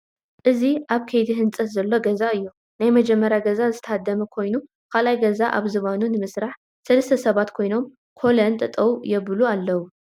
እዚ አብ ከይዲ ህንፀት ዘሎ ገዛ እዩ፡፡ ናይ መጀመርያ ገዛ ዝተሃደመ ኮይኑ ካልአይ ገዛ አብ ዝባኑ ንምስራሕ ሰለስተ ሰባት ኮይኖም ኮለን ጠጠው የብሉ አለዉ፡፡